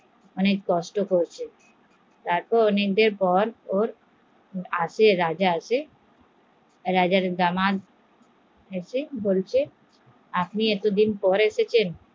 অনেক কষ্ট করছে, তার পর অনেক দেড় বাদ দামা এসেছে বলছে আপনি এতদিন পর এলেন